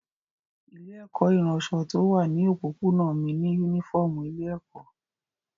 Ilé-ẹ̀kọ́ ìránṣọ tí ó wà ní òpópónà mí ní únífọ́ọ́mù ilé-ẹ̀kọ́.